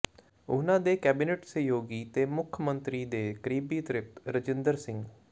ਉਨ੍ਹਾਂ ਦੇ ਕੈਬਨਿਟ ਸਹਿਯੋਗੀ ਤੇ ਮੁੱਖ ਮੰਤਰੀ ਦੇ ਕਰੀਬੀ ਤ੍ਰਿਪਤ ਰਜਿੰਦਰ ਸਿੰਘ